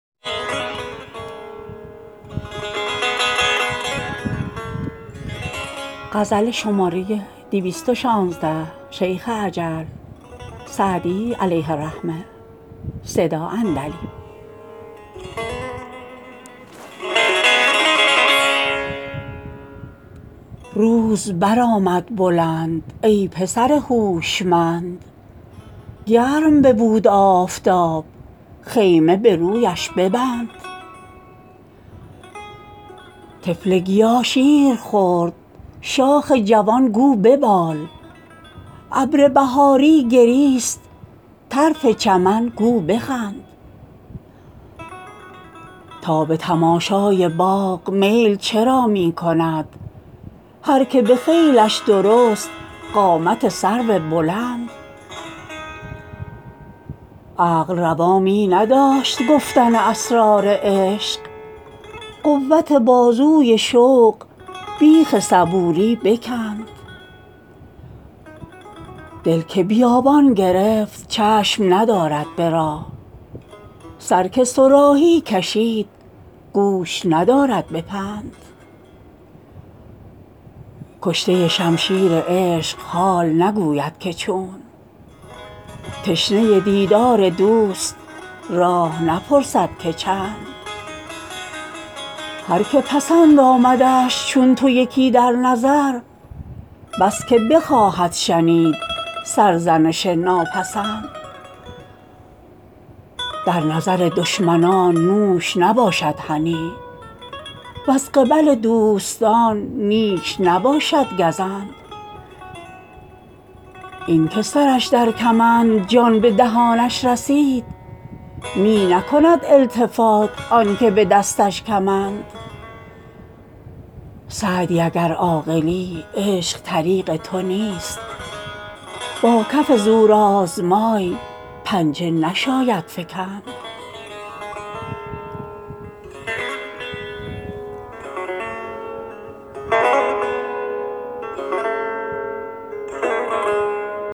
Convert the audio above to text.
روز برآمد بلند ای پسر هوشمند گرم ببود آفتاب خیمه به رویش ببند طفل گیا شیر خورد شاخ جوان گو ببال ابر بهاری گریست طرف چمن گو بخند تا به تماشای باغ میل چرا می کند هر که به خیلش درست قامت سرو بلند عقل روا می نداشت گفتن اسرار عشق قوت بازوی شوق بیخ صبوری بکند دل که بیابان گرفت چشم ندارد به راه سر که صراحی کشید گوش ندارد به پند کشته شمشیر عشق حال نگوید که چون تشنه دیدار دوست راه نپرسد که چند هر که پسند آمدش چون تو یکی در نظر بس که بخواهد شنید سرزنش ناپسند در نظر دشمنان نوش نباشد هنی وز قبل دوستان نیش نباشد گزند این که سرش در کمند جان به دهانش رسید می نکند التفات آن که به دستش کمند سعدی اگر عاقلی عشق طریق تو نیست با کف زورآزمای پنجه نشاید فکند